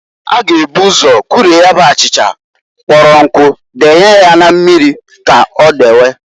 A ga eburu ụzọ kurie ya bụ achịcha kpọrọ nkụ denye ya na mmiri k'o deyewe.